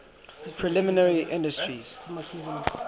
primary industry based